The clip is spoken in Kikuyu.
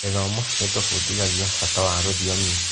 Gĩthomo gĩtũbundithagia bata wa rũthiomi.